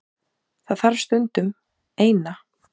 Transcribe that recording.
Það þarf stundum. Eina.